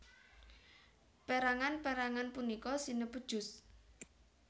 Perangan perangan punika sinebut juz